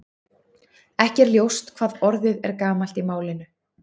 Ekki er ljóst hvað orðið er gamalt í málinu.